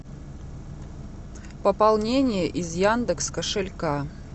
пополнение из яндекс кошелька